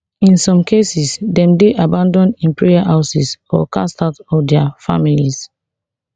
in some cases dem dey abanAcceptedd in prayer houses or cast out of dia families